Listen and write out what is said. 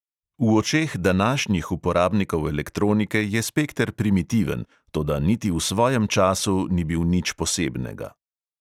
V očeh današnjih uporabnikov elektronike je spekter primitiven, toda niti v svojem času ni bil nič posebnega.